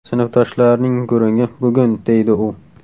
Sinfdoshlarning gurungi bugun, deydi u.